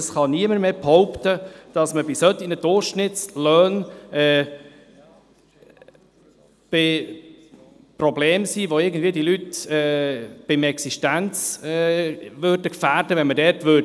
Es kann niemand behaupten, dass bei solchen Durchschnittslöhnen Probleme vorhanden wären, sodass die Leute in ihrer Existenz gefährdet wären, wenn man dort bremsen würde.